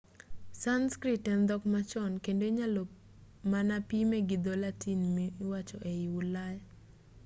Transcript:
sanskrit en dhok machon kendo inyalo mana pime gi dho-latin miwacho ei ulaya